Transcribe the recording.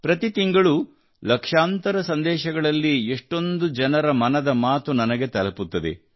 ಪ್ರತಿ ತಿಂಗಳೂ ಲಕ್ಷಾಂತರ ಸಂದೇಶಗಳಲ್ಲಿ ಎಷ್ಟೊಂದು ಜನರ ಮನದ ಮಾತು ನನಗೆ ತಲುಪುತ್ತದೆ